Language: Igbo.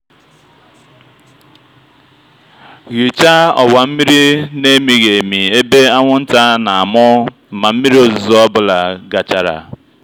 ghichaa ọwa mmiri na-emighị emi ebe anwụnta na-amụ ma mmiri ozuzo ọ bụla gachara.